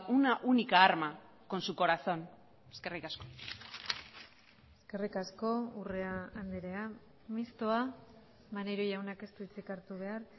una única arma con su corazón eskerrik asko eskerrik asko urrea andrea mistoa maneiro jaunak ez du hitzik hartu behar